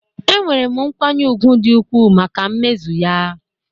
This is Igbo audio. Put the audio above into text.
Enwere m nkwanye ùgwù dị ukwuu maka mmezu ya